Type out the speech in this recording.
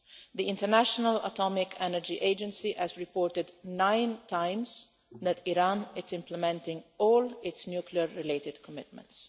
The International Atomic Energy Agency has reported nine times that Iran is implementing all its nuclear related commitments.